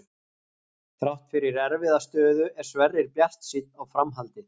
Þrátt fyrir erfiða stöðu er Sverrir bjartsýnn á framhaldið.